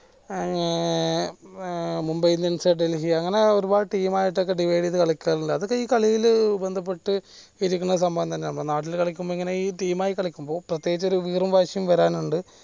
ഏർ Mumbai Indians Delhi അങ്ങനെ ഒരുപാട് team ആയിട്ട് ഒക്കെ divide ചെയ്ത് കളിക്കൽ ഉണ്ട് അതൊക്കെ ഈ കളിയിൽ ബന്ധപ്പെട്ട് ഇരിക്കുന്ന സംഭവം തന്നെയാണ് നമ്മുടെ നാട്ടിലെ കളിക്കുമ്പോൾ ഇങ്ങനെ ഈ team ആയി കളിക്കുമ്പോൾ പ്രത്യേകിച്ച് ഒരു വീറും വാശിയും വരാനുണ്ട്